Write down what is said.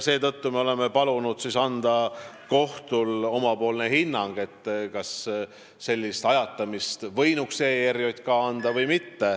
Seetõttu me oleme palunud anda kohtul omapoolne hinnang, kas ERJK võinuks sellist ajatamist lubada või mitte.